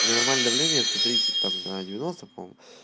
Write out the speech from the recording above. меня нормально давление сто тридцать там на девяносто по-моему